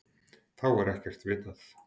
Þá er ekkert vitað.